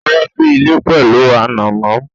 Ó wá sí ilé pẹ̀lú ànàmọ́